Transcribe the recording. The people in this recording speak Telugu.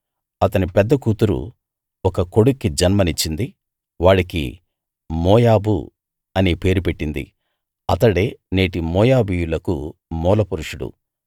అతని పెద్ద కూతురు ఒక కొడుక్కి జన్మనిచ్చింది వాడికి మోయాబు అనే పేరు పెట్టింది అతడే నేటి మోయాబీయులకు మూల పురుషుడు